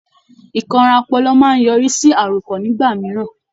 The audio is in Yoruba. Ìkanra ọpọlọ máa ń yọrí sí àròkàn nígbà mìíràn.